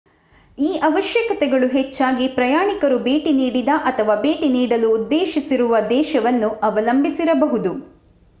ಈ ಅವಶ್ಯಕತೆಗಳು ಹೆಚ್ಚಾಗಿ ಪ್ರಯಾಣಿಕರು ಭೇಟಿ ನೀಡಿದ ಅಥವಾ ಭೇಟಿ ನೀಡಲು ಉದ್ದೇಶಿಸಿರುವ ದೇಶವನ್ನು ಅವಲಂಬಿಸಿರಬಹುದು